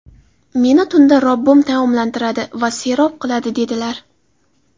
Meni tunda Robbim taomlantiradi va serob qiladi”, dedilar.